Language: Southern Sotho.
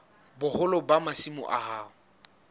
boholo ba masimo a hao